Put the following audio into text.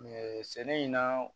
sɛnɛ in na